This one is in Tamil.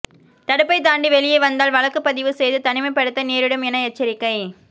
தடுப்பை தாண்டி வெளியே வந்தால் வழக்கு பதிவு செய்து தனிமைப்படுத்த நேரிடும் என எச்சரிக்கை